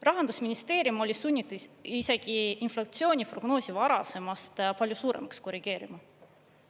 Rahandusministeerium oli sunnitud isegi inflatsiooniprognoosi varasemast palju suuremaks korrigeerima.